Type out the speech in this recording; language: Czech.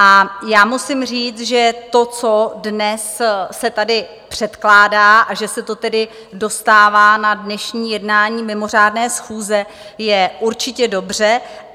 A já musím říct, že to, co dnes se tady předkládá, a že se to tedy dostává na dnešní jednání mimořádné schůze, je určitě dobře.